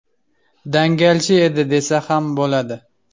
Dangalchi edi, desa ham bo‘ladi.